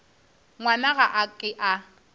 ngwana ga a ke a